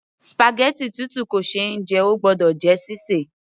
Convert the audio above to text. spaghetti tútù kò ṣe é jẹ, óò gbọ́dọ̀ jẹ́ sí sè